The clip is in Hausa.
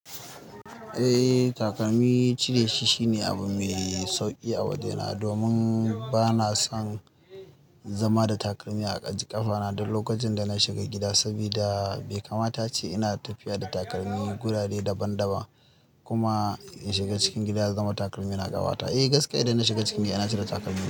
Eh takalmi cire shi shine abu mai sauki a waje na domin bana son zama da takalmi a ji ƙafa na. Duk lokacin da na shiga gida sabida be kama ta a ce ina tafiya da takalmi gurare daban daban kuma in shiga cikin gida ya zama takalmi na ƙafata. Eh gaskiya idan na shiga cikin gida ina cire takalmi.